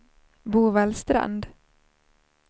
Bovallstrand